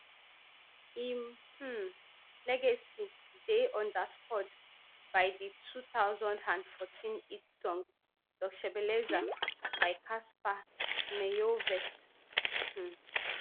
im um legacy dey underscored by di two thousand and fourteen hit song doc shebeleza by cassper nyovest um